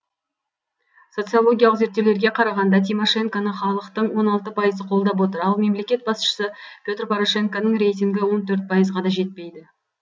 социологиялық зерттеулерге қарағанда тимошенконы халықтың он алты пайызы қолдап отыр ал мемлекет басшысы петр порошенконың рейтингі он төрт пайызға да жетпейді